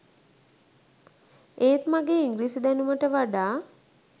ඒත් මගේ ඉංග්‍රීසි දැනුමට වඩා